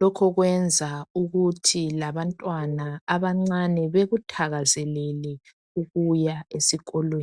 Lokho kwenza ukuthi labanywana abancane bakuthakazelele ukuya esikolweni.